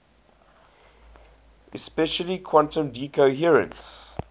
especially quantum decoherence